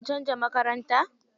Sun canza makaranta.